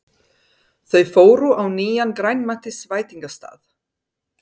Þau fóru á nýjan grænmetisveitingastað.